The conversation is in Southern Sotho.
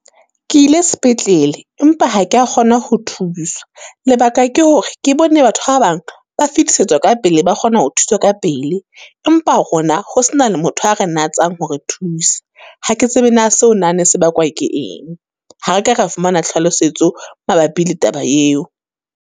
Ke ile sepetlele, empa ha ke ya kgona ho thuswa, lebaka ke hore ke bone batho ba bang ba fetisetswa ka pele, ba kgona ho thuswa ka pele. Empa rona ho se na le motho a re natsanh hore thusa. Ha ke tsebe na seo na ne se bakwa ke eng? Ha re ka ra fumana tlhalosetso mabapi le taba eo.